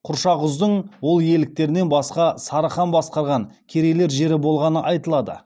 құршақұздың ол иеліктерінен басқа сары хан басқарған керейлер жері болғаны айтылады